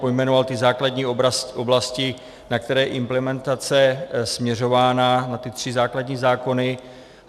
Pojmenoval ty základní oblasti, na které je implementace směřována, na ty tři základní zákony.